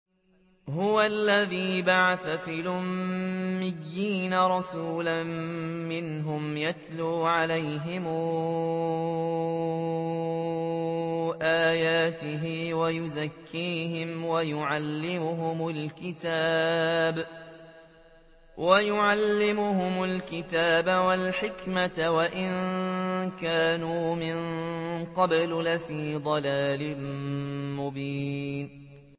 هُوَ الَّذِي بَعَثَ فِي الْأُمِّيِّينَ رَسُولًا مِّنْهُمْ يَتْلُو عَلَيْهِمْ آيَاتِهِ وَيُزَكِّيهِمْ وَيُعَلِّمُهُمُ الْكِتَابَ وَالْحِكْمَةَ وَإِن كَانُوا مِن قَبْلُ لَفِي ضَلَالٍ مُّبِينٍ